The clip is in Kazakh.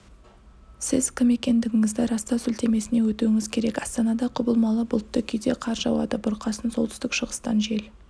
сіз кім екендігіңізді растау сілтемесіне өтуіңіз керек астанада құбылмалы бұлтты кейде қар жауады бұрқасын солтүстік-шығыстан жел